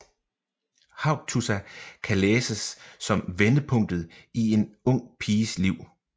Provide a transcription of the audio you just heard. Haugtussa kan læses som vendepunktet i en ung piges liv